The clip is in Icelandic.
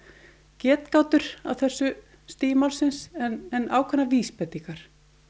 getgátur á þessu stigi málsins en ákveðnar vísbendingar